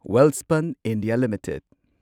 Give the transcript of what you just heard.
Welspun India limited